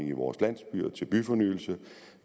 i vores landsbyer og til byfornyelse